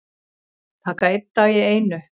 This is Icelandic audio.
Taka einn dag í einu